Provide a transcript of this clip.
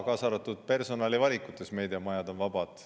Meedia on vaba, ka personalivalikutes on meediamajad vabad.